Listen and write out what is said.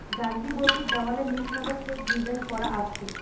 গাজিবোটির দ্যাওয়ালে নীল সাদা চেক ডিজাইন করা আছে।